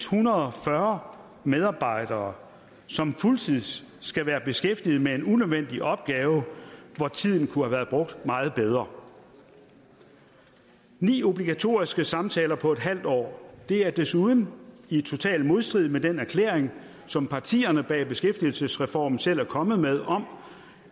hundrede og fyrre medarbejdere som fuldtids skal være beskæftiget med en unødvendig opgave hvor tiden kunne have været brugt meget bedre ni obligatoriske samtaler på en halv år er desuden i total modstrid med den erklæring som partierne bag beskæftigelsesreformen selv er kommet med om